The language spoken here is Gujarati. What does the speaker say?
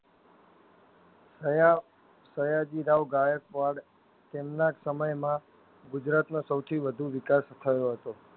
હયાવ સયાજીરાવગાયક વાડ તેમના સમયમાં ગુજરાતનો સવથી વધુ વિકાસ થયો હતો.